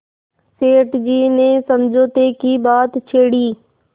सेठ जी ने समझौते की बात छेड़ी